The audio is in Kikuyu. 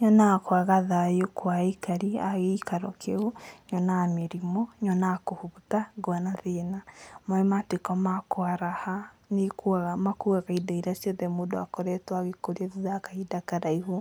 Nyonaga kwaga thayũ kwa aikari a gĩikaro kĩu, nyonaga mĩrimũ, nyonaga kũhũta ngona thĩna, maĩ matuĩka ma kwaraha nĩikuaga makuaga indo iria ciothe mũndũ akoretwo agĩkũrĩria kahĩnda karaihu